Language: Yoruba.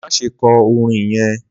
Má se kọ orin yẹn!